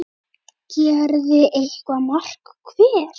gerði eitt mark hver.